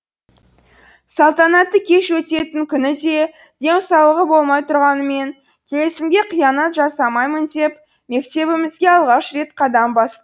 салтанатты кеш өтетін күні де денсаулығы болмай тұрғанымен келісімге қиянат жасамаймын деп мектебімізге алғаш рет қадам бас